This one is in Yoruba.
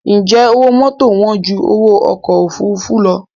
Ǹjẹ́ owó mọ́tò wán ju owó ọkọ̀ òfuurufú lọ?